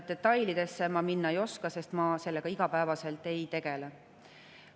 Detailidesse ma minna ei oska, sest ma sellega igapäevaselt ei tegele.